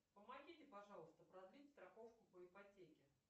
помогите пожалуйста продлить страховку по ипотеке